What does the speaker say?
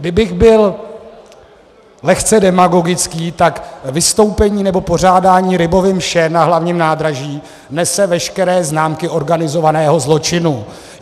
Kdybych byl lehce demagogický, tak vystoupení nebo pořádání Rybovy mše na Hlavním nádraží nese veškeré známky organizovaného zločinu.